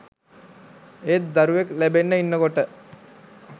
ඒත් දරුවෙක් ලැබෙන්න ඉන්නකොට